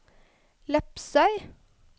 Lepsøy